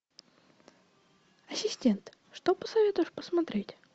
ассистент что посоветуешь посмотреть